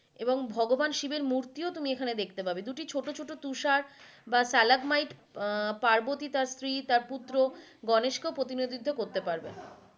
এবং ভগবান শিবের মূর্তি ও তুমি এখানে দেখতে পাবে দুটি ছোট ছোট তুষার বা stalagmite আহ পার্বতী তার স্ত্রী তার পুত্র গণেশ কে প্রতিনোধিত করতে পারবে।